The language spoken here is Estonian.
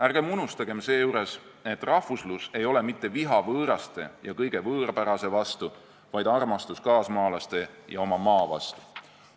Ärgem unustagem seejuures, et rahvuslus ei ole mitte viha võõraste ja kõige võõrapärase vastu, vaid armastus kaasmaalaste ja oma maa vastu.